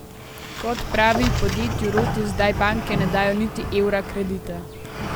Kot pravi, podjetju Rotis zdaj banke ne dajo niti evra kredita.